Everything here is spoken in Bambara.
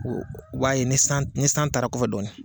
U b'a ye ni ni san taara kɔfɛ dɔɔnin.